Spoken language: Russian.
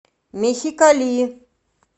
мехикали